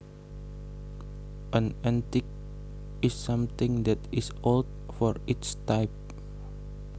An antique is something that is old for its type